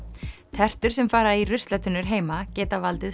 tertur sem fara í ruslatunnur heima geta valdið